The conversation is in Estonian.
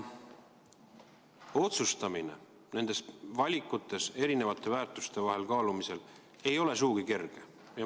Otsustamine nende valikute tegemisel ja erisuguste väärtuste kaalumisel ei ole sugugi kerge.